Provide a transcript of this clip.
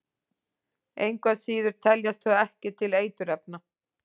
Engu að síður teljast þau ekki til eiturefna.